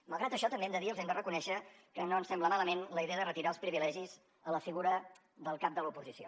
malgrat això també hem de dir ho els hem de reconèixer que no ens sembla malament la idea de retirar els privilegis a la figura del cap de l’oposició